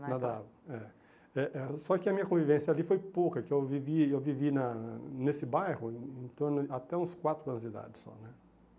Nadavam, é. Eh eh Só que a minha convivência ali foi pouca, que eu vivi eu vivi na nesse bairro em torno de até uns quatro anos de idade só, né?